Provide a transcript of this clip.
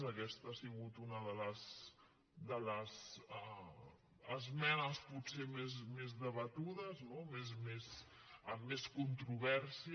aquesta ha sigut una de les esmenes potser més debatudes no amb més controvèrsia